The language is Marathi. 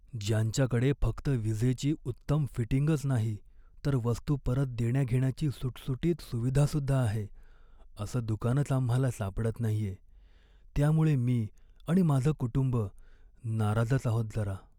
ज्यांच्याकडे फक्त विजेची उत्तम फिटिंगच नाही तर वस्तू परत देण्याघेण्याची सुटसुटीत सुविधा सुद्धा आहे, असं दुकानच आम्हाला सापडत नाहीये, त्यामुळे मी आणि माझं कुटुंब नाराजच आहोत जरा.